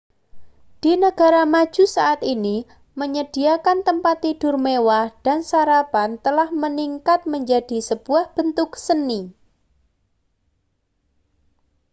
di negara maju saat ini menyediakan tempat tidur mewah dan sarapan telah meningkat menjadi sebuah bentuk seni